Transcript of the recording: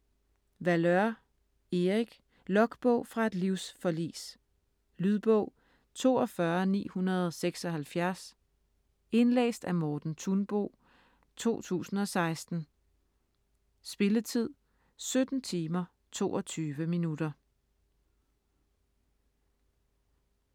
Valeur, Erik: Logbog fra et livsforlis Lydbog 42976 Indlæst af Morten Thunbo, 2016. Spilletid: 17 timer, 22 minutter.